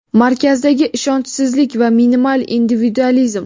markazdagi ishonchsizlik va minimal individualizm.